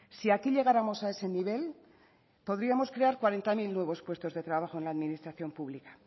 si aquí llegáramos a ese nivel podríamos crear cuarenta mil nuevos puestos de trabajo en la administración pública